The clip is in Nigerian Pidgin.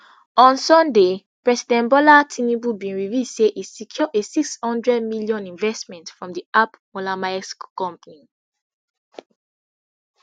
on sunday president bola tinubu bin reveal say e secure a six hundred million investment from di ap mollermaersk company